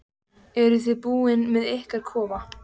Eruð þið búnir með ykkar kofa?